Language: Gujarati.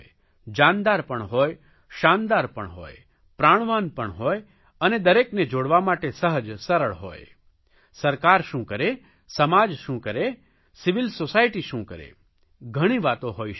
જાનદાર પણ હોય શાનદાર પણ હોય પ્રાણવાન પણ હોય અને દરેકને જોડવા માટે સહજ સરળ હોય સરકાર શું કરે સમાજ શું કરે સિવિલ સોસાયટી શું કરે ઘણી વાતો હોઇ શકે છે